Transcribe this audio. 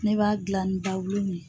Ne b'a gilan ni ne ye.